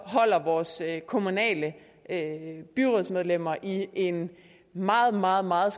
holder vores kommunale byrådsmedlemmer i en meget meget meget